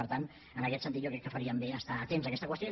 per tant en aquest sentit jo crec que faríem bé d’estar atents a aquesta qüestió